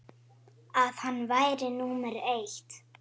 að hann væri númer eitt.